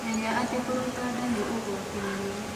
Menya atĩ kũruta nda nĩ ũgwati mũnene